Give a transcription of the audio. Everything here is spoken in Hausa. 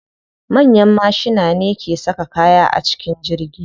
Manyan mashina ne ke saka kaya a cikin jirgi.